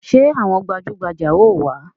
Ṣé àwọn gbajugbaja ó wá?